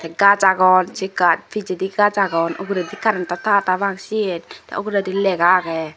gaj agon se gaj pijedi gaj agon uguredi current to tar parapang siyet te uguredi lega aage.